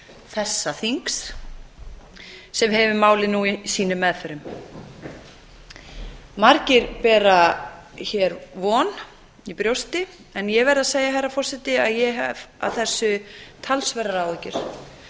þessa þings sem hefur málið nú í sínum meðförum margir bera hér von í brjósti en ég verð að segja herra forseti að ég hef af þessu talsverðar áhyggjur